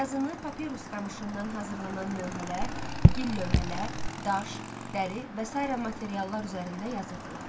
Yazını papirus qamışından hazırlanan lövhələr, gil lövhələr, daş, dəri və sair materiallar üzərində yazırdılar.